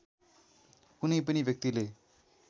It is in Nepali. कुनै पनि व्यक्तिले